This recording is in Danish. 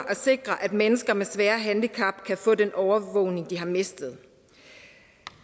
at sikre at mennesker med svære handicap kan få den overvågning de har mistet